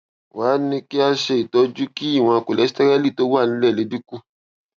wá a ní kí a ṣe itọju kí ìwòn kóléstẹrẹlì tó wà nílè lè dín kù